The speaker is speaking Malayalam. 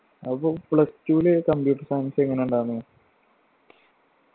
അപ്പൊ plus two ല് computer science എങ്ങനെയുണ്ടായിരുന്നു